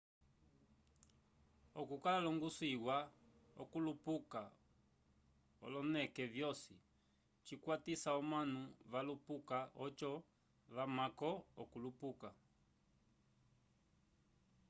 okukala longuso iwa okulupuka olineke vyosi cikwatisa omanu valupuka oco vamamko okulupuka